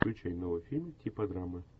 включай новый фильм типа драмы